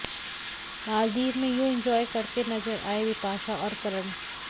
मालदीव में यूं इंजॉय करते नजर आए बिपाशा और करण